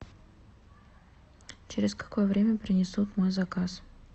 через какое время принесут мой заказ